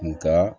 Nga